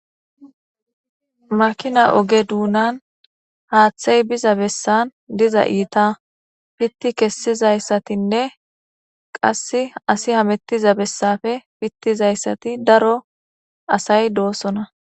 makina oge duunan haaththey biza bessan diza iita pitti kessizayssatinne qass asi hamettiza bessafe pittizayssati daro asay doosona